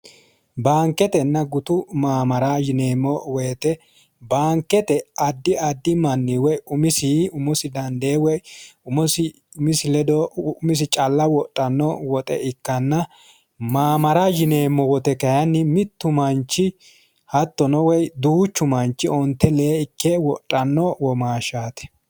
Baanketenna gutu mamaara yineemmo woyte baankete addi addi manni umosi woyi umosi dande umosi umisi calla wodhano woxe ikkanna mamaara yineemmo woyte kayinni mitu manchi hattono duuchu manchi onte lee ikke wodhano womaashshati.